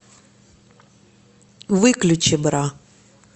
выключи бра